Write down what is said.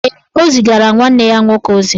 Ee, o zigara nwanne ya nwoke ozi